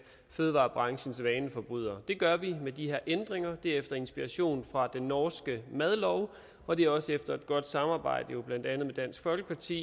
fødevarebranchens vaneforbrydere det gør vi med de her ændringer og det er efter inspiration fra den norske madlov og det er også efter et godt samarbejde blandt andet med dansk folkeparti